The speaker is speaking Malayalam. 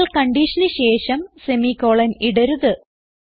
എന്നാൽ കൺഡിഷന് ശേഷം സെമി കോളൻ ഇടരുത്